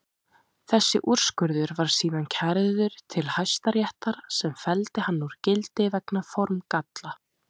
Þessi úrskurður var síðan kærður til Hæstaréttar sem felldi hann úr gildi vegna formgalla.